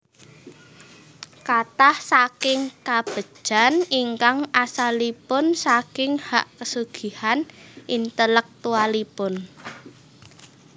Kathah saking kabegjan ingkang asalipun saking hak kesugihan intelektualipun